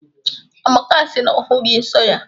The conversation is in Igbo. Amaka si na ọ hụghị nso ya.